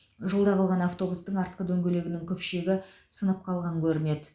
жолда қалған автобустың артқы дөңгелегінің күпшегі сынып қалған көрінеді